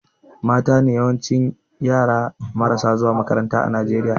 Matane yawancin yara marasa zuwa makaranta a Najeriya